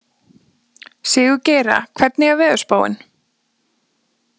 Sigurgeira, hvernig er veðurspáin?